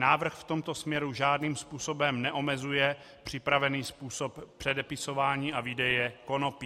Návrh v tomto směru žádným způsobem neomezuje připravený způsob předepisování a výdeje konopí.